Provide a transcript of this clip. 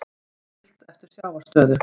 Siglt eftir sjávarstöðu